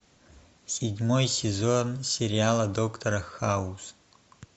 седьмой сезон сериала доктор хаус